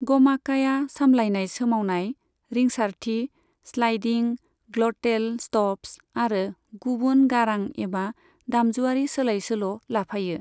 गमाकाया सामलायनाय सोमावनाय, रिंसारथि, स्लाइडिं, ग्लटेल स्टप्स आरो गुबुन गारां एबा दामजुआरि सोलाय सोल' लाफायो।